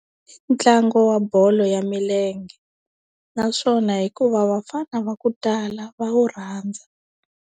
Ntlangu wa bolo ya milenge naswona hikuva vafana va ku tala va wu rhandza.